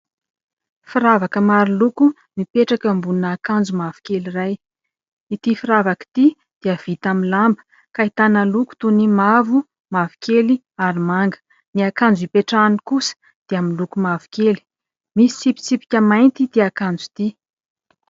Firavaka maro loko mipetraka ambonina akanjo mavokely iray. Ity firavaka ity dia vita amin'ny lamba ka ahitana loko toy ny mavo, mavokely ary manga. Ny akanjo hipetrahany kosa dia miloko mavokely, misy tsipitsipika mainty ity akanjo ity.